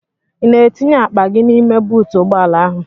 Ị na-etinye akpa gị n'ime buutu ụgbọala ahụ?